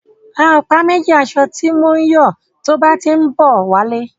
Ra ọ̀pá méjì asọ ti mọ ń yọ tó bá tí ń bọ̀ wá lé.